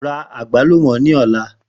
Ra agbalumo ni ọla!